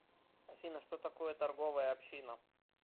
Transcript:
афина что такое торговая община